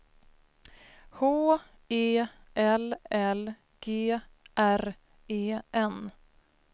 H E L L G R E N